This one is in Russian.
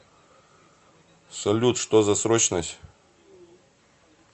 салют что за срочность